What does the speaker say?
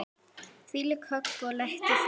Þvílíkt högg og léttur fugl.